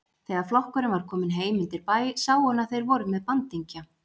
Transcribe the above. Þegar flokkurinn var kominn heim undir bæ sá hún að þeir voru með bandingja.